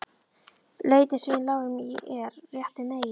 Lautin sem við lágum í er rétt við veginn.